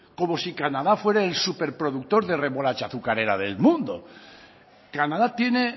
como si canadá fuera el súper productor de remolacha azucarera del mundo canadá tiene